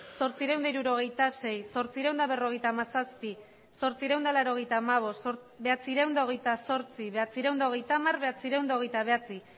zortziehun eta hirurogeita sei zortziehun eta berrogeita hamazazpi zortziehun eta laurogeita hamabost bederatziehun eta hogeita zortzi bederatziehun eta hogeita hamar bederatziehun eta hogeita bederatzi